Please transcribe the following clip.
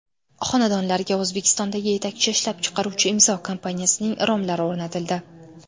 Xonadonlarga O‘zbekistondagi yetakchi ishlab chiqaruvchi Imzo kompaniyasining romlari o‘rnatildi.